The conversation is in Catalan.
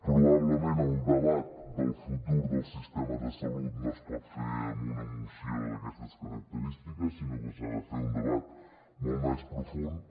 probablement el debat del futur del sistema de salut no es pot fer amb una moció d’aquestes característiques sinó que s’ha de fer un debat molt més profund